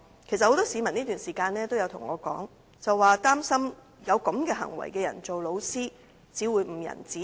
其實，很多市民在這段期間都對我說，他們擔心有這種行為的人任職教師只會誤人子弟。